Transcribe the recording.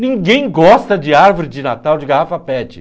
Ninguém gosta de árvore de Natal de garrafa pet.